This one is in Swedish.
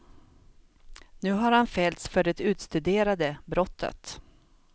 Nu har han fällts för det utstuderade brottet.